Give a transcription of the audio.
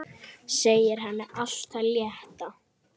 Segja henni allt af létta.